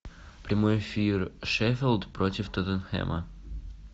прямой эфир шеффилд против тоттенхэма